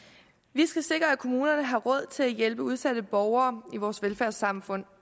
vi skal sikre at kommunerne har råd til at hjælpe udsatte borgere i vores velfærdssamfund